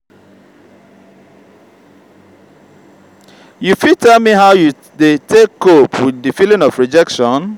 you fit tell me how you dey take cope with di feeling of rejection?